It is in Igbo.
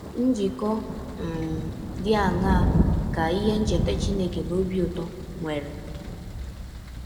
Njikọ um dị aṅaa ka ihe ncheta Chineke na ọbi ụtọ nwere?